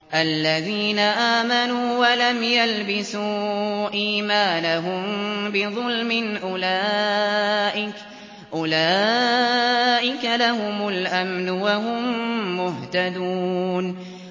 الَّذِينَ آمَنُوا وَلَمْ يَلْبِسُوا إِيمَانَهُم بِظُلْمٍ أُولَٰئِكَ لَهُمُ الْأَمْنُ وَهُم مُّهْتَدُونَ